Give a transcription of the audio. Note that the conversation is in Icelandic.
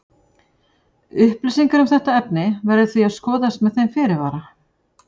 Upplýsingar um þetta efni verður því að skoðast með þeim fyrirvara.